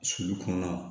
Sulu kɔnɔna la